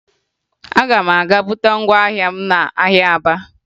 Aga m aga buta ngwa ahịa m n'ahịa Aba